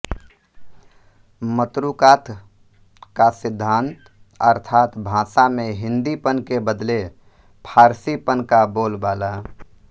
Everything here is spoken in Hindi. मतरूकात का सिद्धान्त अर्थात् भाषा में हिन्दीपन के बदले फारसीपन का बोलबाला